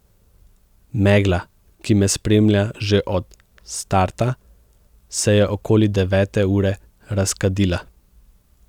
Megla, ki me spremlja že od starta, se je okoli devete ure razkadila.